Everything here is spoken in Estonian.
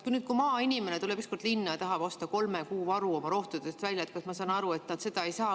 Kui nüüd maainimene tuleb linna ja tahab osta oma rohtude kolme kuu varu välja, siis, ma saan aru, ta seda ei saa.